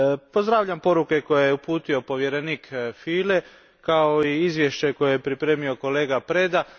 Pozdravljam poruke koje je uputio povjerenik Füle, kao i izvješće koje je pripremio kolega Preda.